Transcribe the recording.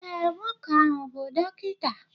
ee, nwoke ahụ bụ dọkịta.